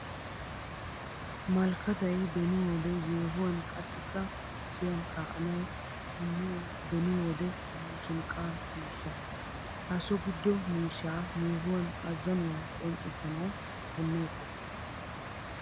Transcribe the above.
Malkkattay beni wode yeehuwan qassikka gazziyan kaa'annawu punniyo beni wode muuzunqqa miishsha. Ha so gido miishsha yeehuwan azannuwa qonccissanawu punneetes.